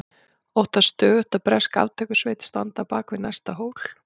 Óttast stöðugt að bresk aftökusveit standi á bak við næsta hól.